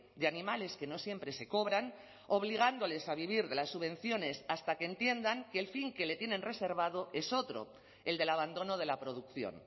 de animales que no siempre se cobran obligándoles a vivir de las subvenciones hasta que entiendan que el fin que le tienen reservado es otro el del abandono de la producción